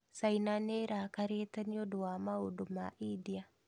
China nĩrakarĩte nĩ maũndu ma India